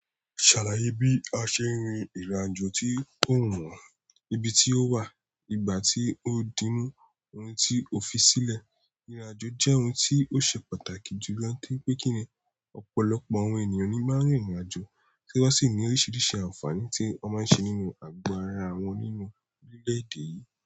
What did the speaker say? Ṣàlàyé bí a ṣe ń rí ìrìnàjò tí ó wùwàn, ibi tí ó wà, ìgbà tí ó díńú, ohun tí ó fi sílẹ̀. Ìrìnàjò jẹ́ ohun tí ó ṣe pàtàkì jù lọ toripé kí ni ọ̀pọ̀lọpọ̀ àwọn ènìyàn ni máa ń rìnrìnàjò, tí wọ́n sì ní oríṣiríṣi àǹfààní tí o máa ń ṣe nínú àgọ́ ara wọn nínú orílẹ̀-èdè yìí.